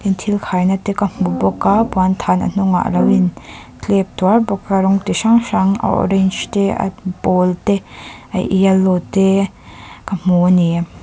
thil khaina te ka hmu bawk a puanthan a hnungah alo in tlep tuar rawng ti hrang hrang a orange te a pawl te a yellow te ka hmu a ni.